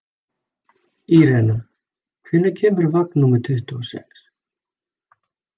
Irena, hvenær kemur vagn númer tuttugu og sex?